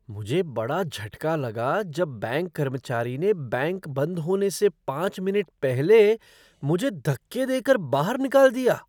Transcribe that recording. मुझे बड़ा झटका लगा जब बैंक कर्मचारी ने बैंक बंद होने से पाँच मिनट पहले मुझे धक्के देकर बाहर निकाल दिया।